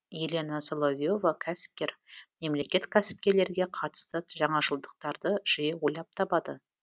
елена соловье ва кәсіпкер мемлекет кәсіпкерлерге қатысты жаңашылдықтарды жиі ойлап табады